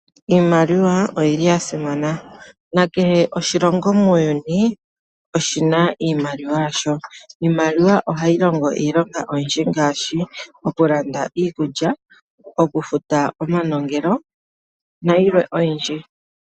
Iimaliwa oyili yasimana nakehe oshilongo muuyuni oshina iimaliwa yasho . Iimaliwa ohayi longo iilonga oyindji ngaashi okulanda iikulya, okufuta omanongelo nayilwe oyindji.